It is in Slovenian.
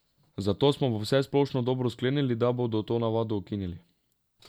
Zato smo v vsesplošno dobro sklenili, da bomo to navado ukinili.